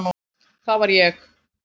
Það var ég.